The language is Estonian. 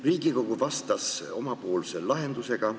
Riigikogu vastas omapoolse lahendusega.